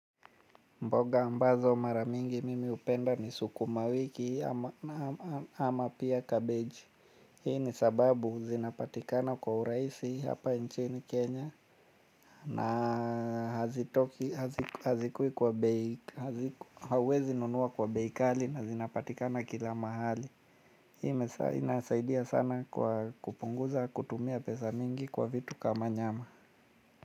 Mboga ambazo mara mingi mimi hupenda ni sukumawiki ama pia kabeji. Hii ni sababu zinapatikana kwa urahisi hapa nchini Kenya. Na huwezi nunua kwa bei kali na zinapatikana kila mahali. Hii inasaidia sana kwa kupunguza kutumia pesa mingi kwa vitu kama nyama.